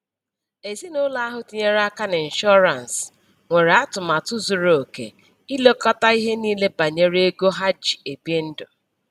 Ezinụlọ ahụ tinyere aka n'ịnshọrance nwere atụmatụ zuru oke ilekọta ihe niile banyere ego ha ji ebi ndụ